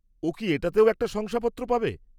ও কি এটাতেও একটা শংসাপত্র পাবে?